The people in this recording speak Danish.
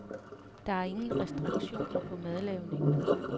Der er ingen restriktioner på madlavningen.